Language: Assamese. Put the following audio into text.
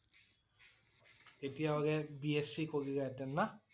তেতিয়া হলে BSC কৰিলা হেঁতেন না?